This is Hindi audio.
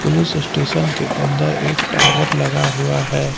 पुलिस स्टेशन के अंदर एक टावर लगा हुआ है।